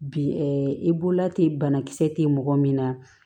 Bi i bolola ten banakisɛ tɛ mɔgɔ min na